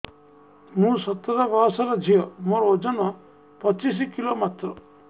ମୁଁ ସତର ବୟସର ଝିଅ ମୋର ଓଜନ ପଚିଶି କିଲୋ ମାତ୍ର